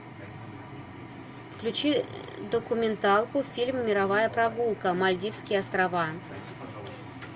включи документалку фильм мировая прогулка мальдивские острова